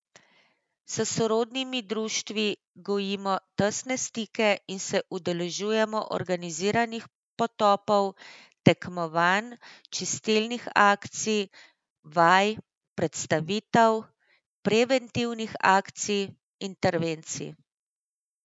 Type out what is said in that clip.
S sorodnimi društvi gojimo tesne stike in se udeležujemo organiziranih potopov, tekmovanj, čistilnih akcij, vaj, predstavitev, preventivnih akcij, intervencij.